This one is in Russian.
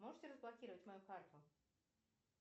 можете разблокировать мою карту